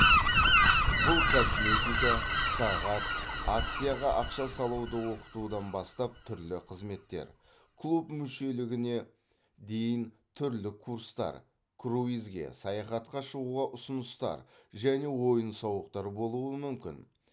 бұл косметика сағат акцияға ақша салуды оқытудан бастап түрлі қызметтер клуб мүшелігіне дейін түрлі курстар круизге саяхатқа шығуға ұсыныстар және ойын сауықтар болуы мүмкін